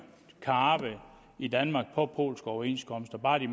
kan arbejde i danmark på polske overenskomster bare de